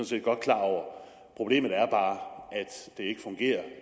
set godt klar over problemet er bare